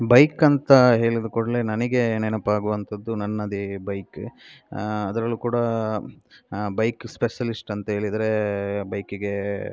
bike ಅಂತ ಹೇಳ್ದಕೊಡ್ಲೇ ನಂಗೆ ನೆನಪಾಗೋವಂತದ್ದು ನನ್ನದೇ ಬೈಕ್ ಅದರಲ್ಲೂ ಕೂಡ ಬೈಕ್ ಸ್ಪೆಷಲಿಸ್ಟ್ ಅಂತ ಹೇಳಿದ್ರೆ ಬೈಕಿಗೆ --